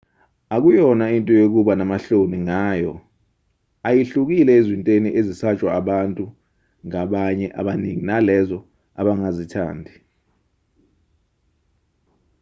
akuyona into yokuba namahloni ngayo ayihlukile ezintweni ezisatshwa abantu ngabanye abaningi nalezo abangazithandi